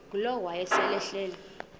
ngulowo wayesel ehleli